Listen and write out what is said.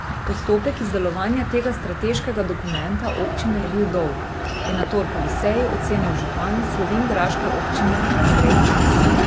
Postopek izdelovanja tega strateškega dokumenta občine je bil dolg, je na torkovi seji ocenil župan slovenjgraške občine Andrej Čas.